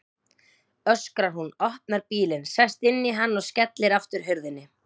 öskrar hún, opnar bílinn, sest inn í hann og skellir aftur hurðinni.